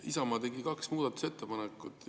Isamaa tegi kaks muudatusettepanekut.